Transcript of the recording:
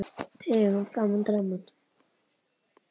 Tegund: Gaman, Drama